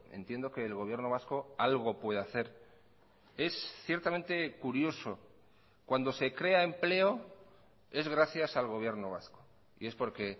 entiendo que el gobierno vasco algo puede hacer es ciertamente curioso cuando se crea empleo es gracias al gobierno vasco y es porque